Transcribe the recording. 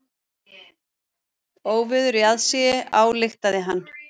Óveður í aðsigi, ályktaði hann.